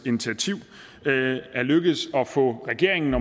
initiativ er lykkedes at få regeringen